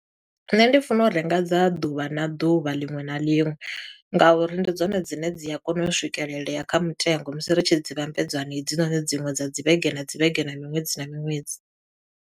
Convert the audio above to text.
Nṋe ndi funa u renga dza ḓuvha na ḓuvha liṅwe na liṅwe, nga uri ndi dzone dzine dzi a kona u swikelelea kha mutengo musi ri tshi dzi vhambedza na hedzinoni dziṅwe dza dzi vhege, na dzi vhege, na miṅwedzi na miṅwedzi.